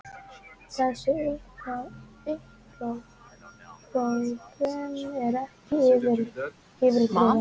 Þessi upphrópun er ekki yfirdrifin.